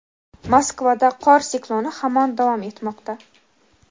Moskvada qor sikloni hamon davom etmoqda.